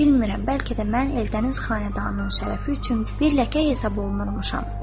Bilmirəm, bəlkə də mən Eldəniz xanədanının şərəfi üçün bir ləkə hesab olunurmuşam.